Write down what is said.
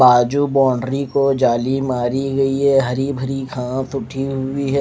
बाजू बौन्दरी को जाली मारी गयी है हरी भरी घास उगी हुई है।